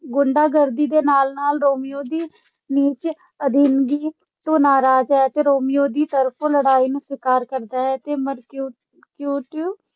ਗੁੰਡਾਗਰਦੀ ਦੇ ਨਾਲ-ਨਾਲ ਰੋਮੀਓ ਦੀ ਨੀਚ ਅਧੀਨਗੀ ਤੋਂ ਨਾਰਾਜ਼ ਹੈ ਤੇ ਰੋਮੀਓ ਦੀ ਤਰਫੋਂ ਲੜਾਈ ਨੂੰ ਸਵੀਕਾਰ ਕਰਦਾ ਹੈ। ਮਰਕਿਉ ਮਰਕੁਟੀਓ